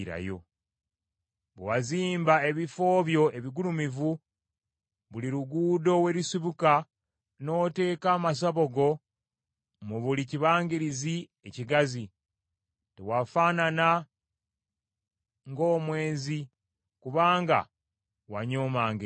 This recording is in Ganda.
Bwe wazimba ebifo byo ebigulumivu buli luguudo we lusibuka, n’oteeka amasabo go mu buli kibangirizi ekigazi, tewafaanana ng’omwenzi kubanga wanyoomanga empeera.